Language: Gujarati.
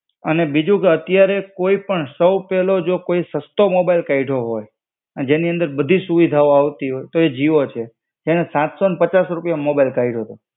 અને બીજું કે અત્યારે કોઈ પણ સૌ પેલો જો કોઈ સસ્તો મોબાઈલ કાઇધો હોય, જેની અંદર બધીજ સુવિધાઓ આવતી હોય, તો એ જીઓ છે. એને સાત સો ને પચાસ રૂપિયામાં મોબાઈલ કાઢ્યો તો.